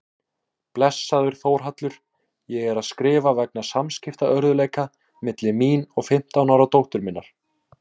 Blessaður Þórhallur, ég er að skrifa vegna samskiptaörðugleika milli mín og fimmtán ára dóttur minnar.